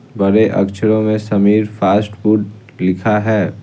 बड़े अक्षरों में समीर फास्ट फूड लिखा है।